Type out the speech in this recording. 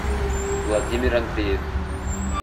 владимир андреев